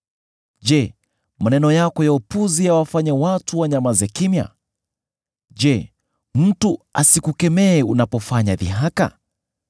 Je, maneno yako ya upuzi yawafanye watu wanyamaze kimya? Je, mtu asikukemee unapofanya dhihaka?